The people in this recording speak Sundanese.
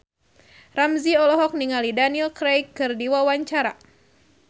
Ramzy olohok ningali Daniel Craig keur diwawancara